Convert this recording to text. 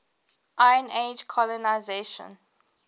iron age colonisation